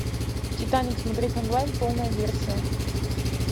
титаник смотреть онлайн полная версия